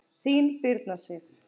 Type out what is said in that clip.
Þín, Birna Sif.